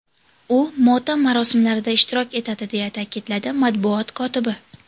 U motam marosimlarida ishtirok etadi”, deya ta’kidladi matbuot kotibi.